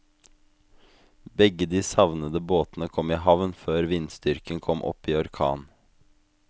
Begge de savnede båtene kom i havn før vindstyrken kom opp i orkan.